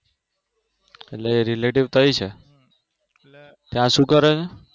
એટલે Relative તયી છે ત્યાં શું કરે છે?